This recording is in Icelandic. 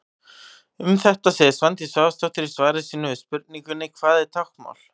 Um þetta segir Svandís Svavarsdóttir í svari sínu við spurningunni: Hvað er táknmál?